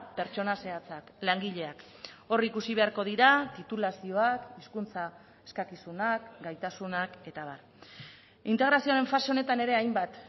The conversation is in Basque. pertsona zehatzak langileak hor ikusi beharko dira titulazioak hizkuntza eskakizunak gaitasunak eta abar integrazioaren fase honetan ere hainbat